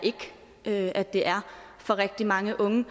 ikke at det er for rigtig mange unge